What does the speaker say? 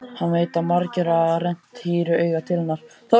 Hann veit að margir hafa rennt hýru auga til hennar.